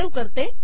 save करते